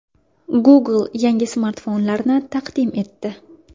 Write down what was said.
Google yangi smartfonlarini taqdim etdi.